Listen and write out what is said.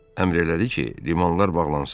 Əmr elədi ki, limanlar bağlansın.